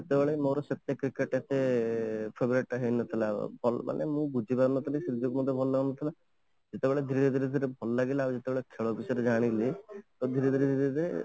ସେତେବେଳେ ମୋର ସେତେ cricket ପ୍ରତି favourite ହେଇନଥିଲା ମାନେ ମୁଁ ବୁଝିପାରୁନଥିଲି cricket ମତେ ଭଲ ଲାଗୁନଥିଲା ଯେତେବେଳେ ଧୀରେ ଧୀରେ ଧୀରେ ଭଲ ଲାଗିଲା ଯେତେବେଳେ ମୁଁ cricket ବିଷୟରେ ଜାଣିଲି ତ ଧୀରେ ଧୀରେ ଧୀରେ